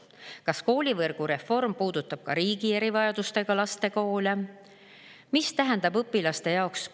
Kas koolivõrgu reform puudutab ka riigi erivajadustega laste koole?